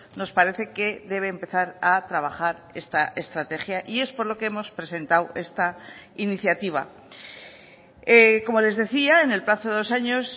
nos parece que debe empezar a trabajar esta estrategia y es por lo que hemos presentado esta iniciativa como les decía en el plazo de dos años